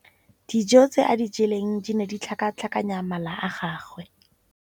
Dijô tse a di jeleng di ne di tlhakatlhakanya mala a gagwe.